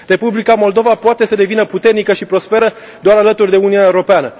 Republica Moldova poate să devină puternică și prosperă doar alături de Uniunea Europeană.